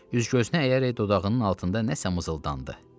Üz-gözünə əyərək dodağının altında nəsə mızıldandı.